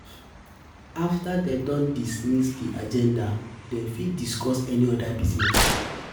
After dem don discuss di agenda dem fit discuss any other business